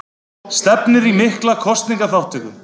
Stefnir í mikla kosningaþátttöku